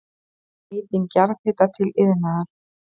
Nýting jarðhita til iðnaðar